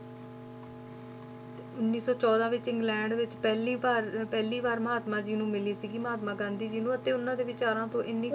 ਤੇ ਉੱਨੀ ਸੌ ਚੌਦਾਂ ਵਿੱਚ ਇੰਗਲੈਂਡ ਵਿੱਚ ਪਹਿਲੀ ਭਾਰ~ ਪਹਿਲੀ ਵਾਰ ਮਹਾਤਮਾ ਜੀ ਨੂੰ ਮਿਲੀ ਸੀਗੀ ਮਹਾਤਮਾ ਗਾਂਧੀ ਜੀ ਨੂੰ ਅਤੇ ਉਹਨਾਂ ਦੇ ਵਿਚਾਰਾਂ ਤੋਂ ਇੰਨੀ